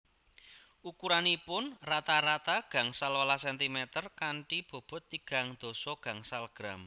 Ukuranipun rata rata gangsal welas centimeter kanthi bobot tigang dasa gangsal gram